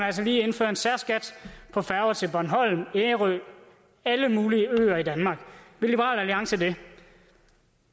altså lige indføre en særskat på færger til bornholm ærø alle mulige øer i danmark vil liberal alliance det